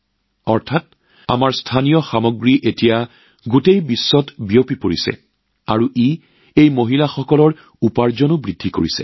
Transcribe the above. অৰ্থাৎ আমাৰ স্থানীয় এতিয়া বিশ্বজুৰি উপলব্ধ হৈ পৰিছে আৰু তাৰ বাবেই এই মহিলাসকলৰ উপাৰ্জনও বৃদ্ধি পাইছে